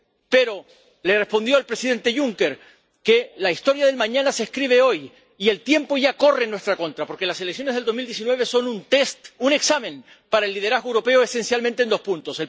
Pero le respondió el presidente Juncker que la historia del mañana se escribe hoy, y el tiempo ya corre en nuestra contra, porque las elecciones de 2019 son un test un examen para el liderazgo europeo esencialmente en dos puntos.